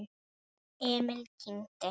Emil kyngdi.